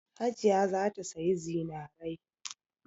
Hajiya za ta sayi zinarai.